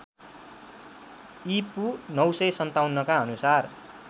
ईपू ९५७ का अनुसार